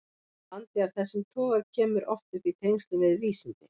Vandi af þessum toga kemur oft upp í tengslum við vísindi.